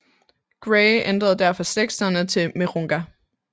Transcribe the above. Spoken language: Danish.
Gray ændrede derfor slægtsnavnet til Mirounga